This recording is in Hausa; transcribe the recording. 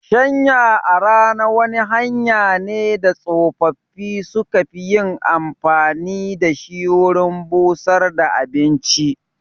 Shanya a rana wani hanya ne da tsofaffi su ka fi yin amfani da shi wurin busar da abinci